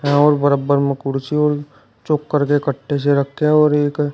चावल बरब्बर में कुर्सी और चोकर के कट्टे से रखे हैं और एक--